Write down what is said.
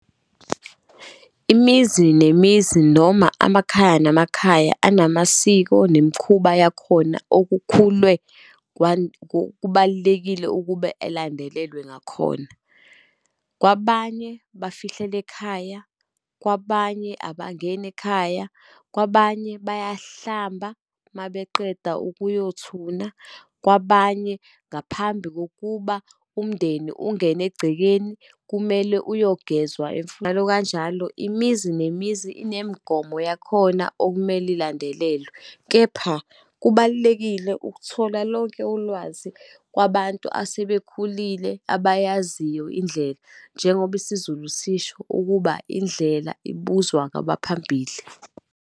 Imizi nemizi, noma amakhaya namakhaya, anamasiko nemikhuba yakhona okukhulunywe kubalulekile ukube elandelelwe ngakhona. Kwabanye bafihlela ekhaya, kwabanye abangeni ekhaya, kwabanye bayahlamba uma beqeda ukuyothuna, kwabanye, ngaphambi kokuba umndeni ungene egcekeni, kumele uyogezwa . Njalo kanjalo, imizi nemizi inemigomo yakhona okumele ilandelelwe. Kepha kubalulekile ukuthola lonke ulwazi kwabantu asebekhulile abayaziyo indlela, njengoba isiZulu sisho ukuba, indlela ibuzwa kwabaphambili.